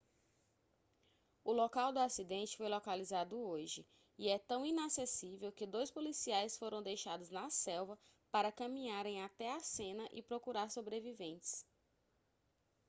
o local do acidente foi localizado hoje e é tão inacessível que dois policiais foram deixados na selva para caminharem até a cena e procurar sobreviventes